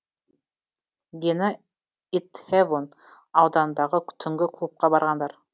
дені итхэвон ауданындағы түнгі клубқа барғандар